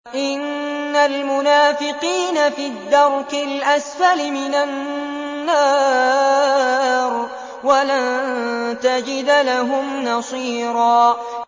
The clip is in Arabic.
إِنَّ الْمُنَافِقِينَ فِي الدَّرْكِ الْأَسْفَلِ مِنَ النَّارِ وَلَن تَجِدَ لَهُمْ نَصِيرًا